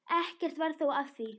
Ekkert varð þó af því.